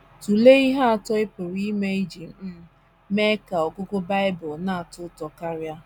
Tụlee ihe atọ ị pụrụ ime iji um mee ka ọgụgụ Bible na - atọ ụtọ karị.